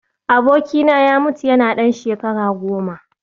Abokina ya mutu yana ɗan shekara goma